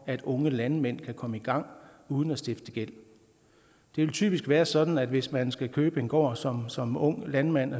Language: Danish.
at unge landmænd kan komme i gang uden at stifte gæld det vil typisk være sådan at hvis man skal købe en gård som som ung landmand